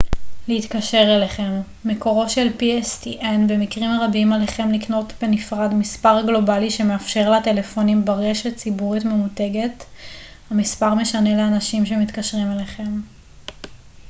במקרים רבים עליכם לקנות בנפרד מספר גלובלי שמאפשר לטלפונים ברשת ציבורית ממותגת pstn להתקשר אליכם. מקורו של המספר משנה לאנשים שמתקשרים אליכם